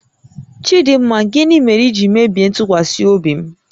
Chidịmma, gịnị mere i ji mebie ntụkwasị obi m?